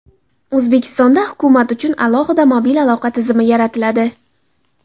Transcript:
O‘zbekistonda hukumat uchun alohida mobil aloqa tizimi yaratiladi.